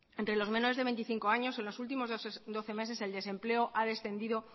entre los menores de veinticinco años en los últimos doce meses el desempleo ha descendido